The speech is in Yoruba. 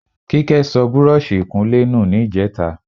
Kíkẹ́ sọ búrọ́ọ̀ṣì ìkunlé nù ní ìjẹta.